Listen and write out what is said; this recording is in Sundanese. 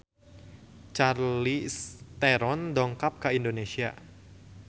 Charlize Theron dongkap ka Indonesia